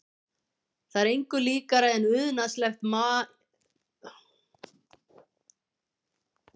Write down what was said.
Það er engu líkara en unaðslegt maíveðrið hafi brotist inn á